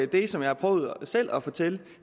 det som jeg har prøvet selv at fortælle